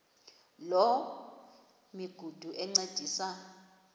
loo migudu encediswa